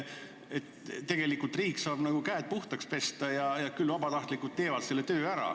Tegelikult saab riik käed puhtaks pesta, sest küll vabatahtlikud teevad selle töö ära.